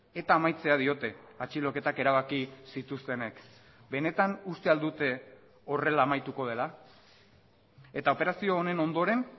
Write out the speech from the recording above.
eta amaitzea diote atxiloketak erabaki zituztenek benetan uste al dute horrela amaituko dela eta operazio honen ondoren